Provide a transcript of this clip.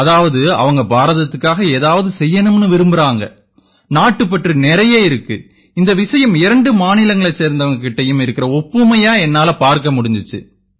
அதாவது அவங்க பாரதத்துக்காக ஏதாவது செய்யணும்னு விரும்பறாங்க நாட்டுப்பற்று நிறைய இருக்கு இந்த விஷயம் இரண்டு மாநிலங்களைச் சேர்ந்தவங்க கிட்டயும் இருக்கற ஒப்புமையா என்னால பார்க்க முடிஞ்சுது